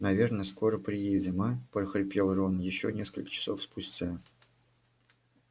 наверное скоро приедем а прохрипел рон ещё несколько часов спустя